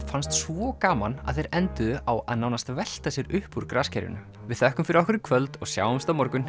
fannst svo gaman að þeir enduðu á að nánast velta sér upp úr við þökkum fyrir okkur í kvöld og sjáumst á morgun